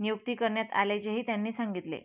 नियुक्ती करण्यात आल्याचेही त्यांनी सांगितले